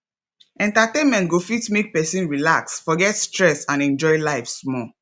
entertainment go fit make person relax forget stress and enjoy life small